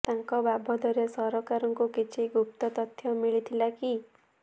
ତାଙ୍କ ବାବଦରେ ସରକାରଙ୍କୁ କିଛି ଗୁପ୍ତ ତଥ୍ୟ ମିଳିଥିଲା କି